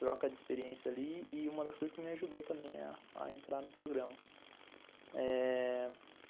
Troca de experiência ali e uma das coisas que me ajudou também é a entrar no programa. Eh...